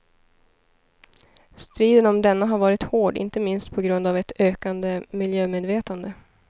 Striden om denna har varit hård, inte minst på grund av ett ökande miljömedvetande.